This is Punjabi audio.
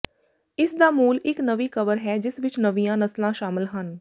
ਇਸ ਦਾ ਮੂਲ ਇਕ ਨਵੀਂ ਕਵਰ ਹੈ ਜਿਸ ਵਿਚ ਨਵੀਆਂ ਨਸਲਾਂ ਸ਼ਾਮਲ ਹਨ